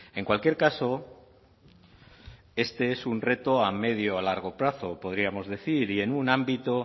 en cualquier caso este es un reto a medio a largo plazo podríamos decir y en un ámbito